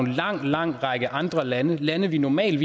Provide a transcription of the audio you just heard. en lang lang række andre lande lande vi normalt